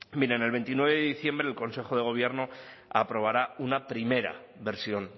miren el veintinueve de diciembre el consejo de gobierno aprobará una primera versión